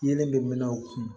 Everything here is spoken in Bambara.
Yeelen bɛ u kun